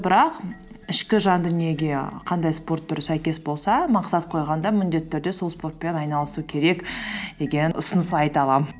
бірақ ішкі жан дүниеге қандай спорт түрі сәйкес болса мақсат қойғанда міндетті түрде сол спортпен айналысу керек деген ұсыныс айта аламын